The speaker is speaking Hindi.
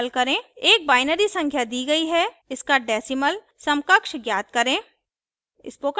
एक binary संख्या दी गई है इसका decimal समकक्ष ज्ञात करें उदाहरण: 11010 => 26